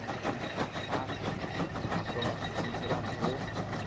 Né tive que passar a provação pela dor.